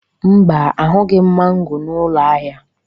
Mba, ahụghị m mango n'ụlọ ahịa.